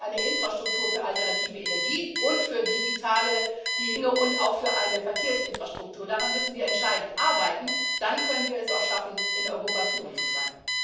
Wir brauchen eine Infrastruktur für alternative Energien und für digitale Dinge und auch eine Verkehrsinfrastruktur. Daran müssen wir entscheidend arbeiten, dann können wir es auch schaffen, in Europa führend zu sein.